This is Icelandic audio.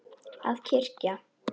Að kyrja.